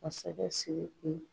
Masakɛ siriki.